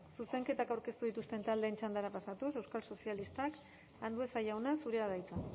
zuzenketak aurkeztu dituzten taldeen txandara pasatuz euskal sozialistak andueza jauna zurea da hitza